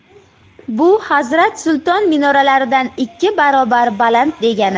Bu Hazrat Sulton minoralaridan ikki barobar baland degani.